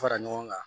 Fara ɲɔgɔn kan